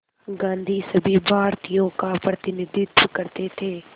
गांधी सभी भारतीयों का प्रतिनिधित्व करते थे